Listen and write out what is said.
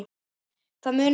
Það munaði litlu.